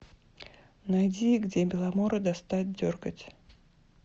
найди где беломора достать дергать